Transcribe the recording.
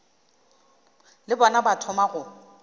le bona ba thoma go